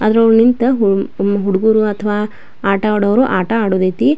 ಅದರಲ್ಲಿ ನಿಂತು ಹುಡುಗೂರು ಅಥವಾ ಆಟ ಆಡೋರು ಆಟ ಆಡೋದು ಐತೆ --